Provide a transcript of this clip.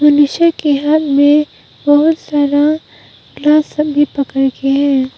नीचे के हाथ में बहोत सारा ग्लास सब भी पकड़ के है।